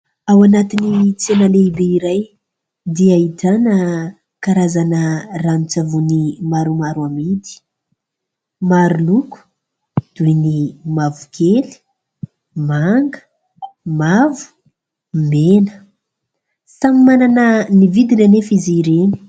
Ao anatin'ny tsena lehibe iray dia ahitana karazana ranon-tsavony maromaro amidy. Maro loko toy ny mavokely, manga, mavo, mena. Samy manana ny vidiny anefa izy ireny.